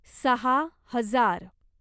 सहा हजार